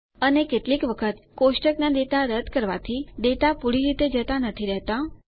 અને કેટલીક વખત કોષ્ટક ડેટા રદ્દ કરવાથી ડેટા પૂરી રીતે જતા નથી રહેતા